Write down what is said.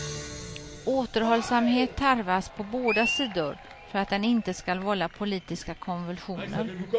Återhållsamhet tarvas på båda sidor för att den inte skall vålla politiska konvulsioner.